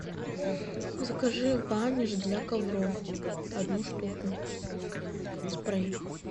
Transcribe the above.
закажи ваниш для ковров одну штуку спрей